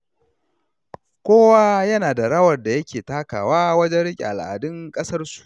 Kowa yana da rawar da yake takawa wajen riƙe al’adun ƙasarsu.